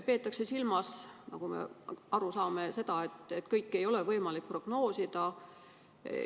Peetakse silmas seda, et kõike ei ole võimalik prognoosida.